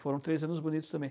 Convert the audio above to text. Foram três anos bonitos também.